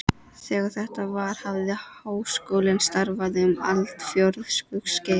Þegar þetta var, hafði Háskólinn starfað um aldarfjórðungs skeið.